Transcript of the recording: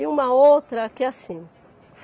E uma outra que é assim.